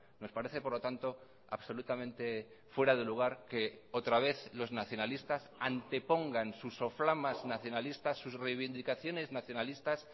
nos parece por lo tanto absolutamente fuera de lugar que otra vez los nacionalistas antepongan sus soflamas nacionalistas sus reivindicaciones nacionalistas